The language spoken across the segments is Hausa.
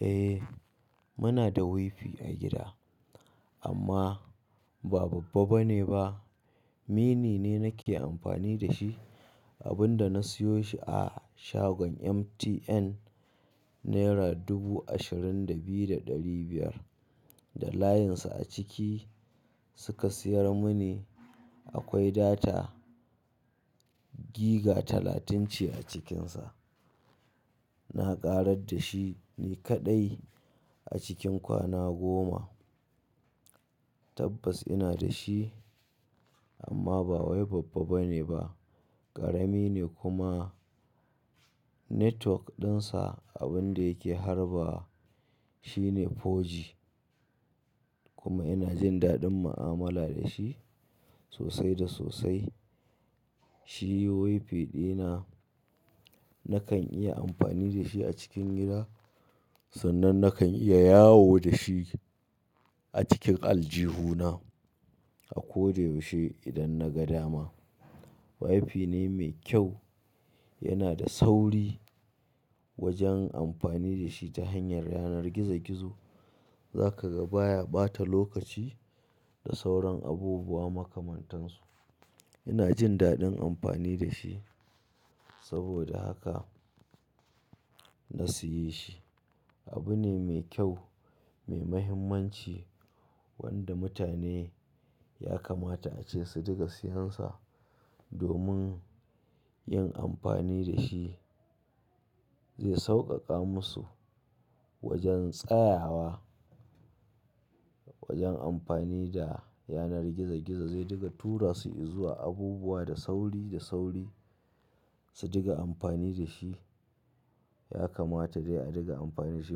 Eh, muna da wifi a gida amma ba babba bane ba. Mini ne nake amfani da shi, abin da na siyo shi a shagon MTN naira dubu ashirin da biyu da ɗari biyar da layinsa a ciki suka siyar muni. Akwai data giga talatunce a cikinsa. Na ƙarar da shi ni kaɗai a cikin kwana goma. Tabbas ina da shi amma bawai babba bane ba, ƙarami ne kuma network ɗinsa abun da yake harbawa shine 4G kuma ina jin daɗin mu'amala da shi sosai da sosai. Shi wifi ɗina nakan iya amfani da shi a cikin gida sannan nakan iya yawo da shi a cikin aljihuna a ko da yaushe idan na ga dama. Wifi ne mai kyau, yana da sauri wajen amfani da shi ta hanyar yanar gizo-gizo. Za ka ga baya ɓata lokaci da sauran abubuwa makamantan su. Ina jin daɗin amfani da shi saboda haka na siye shi. Abu ne mai kyau, mai mahimmanci wanda mutane ya kamata ace su dinga siyansa domin yin amfani da shi zai sauƙaƙa musu wajen tsayawa, wajen amfani da yanar gizo-gizo. Zai riƙa tura su izuwa abubuwa da sauri da sauri su dinga amfani da shi. Ya kamata dai a dinga amfani shi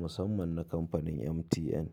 musamman na kamfanin MTN.